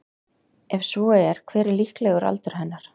Ef svo er hver er líklegur aldur hennar?